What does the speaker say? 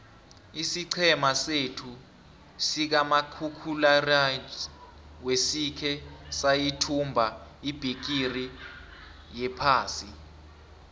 isiqhema sethu sikamakhakhulararhwe sikhe sayithumba ibhigiri yephasi